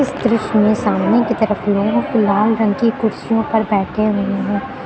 दृश्य में सामने की तरफ लोग लाल रंग की कुर्सियों पर बैठे हुए हैं।